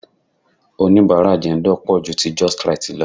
Onibara Jendol pò ju ti Justrite lọ.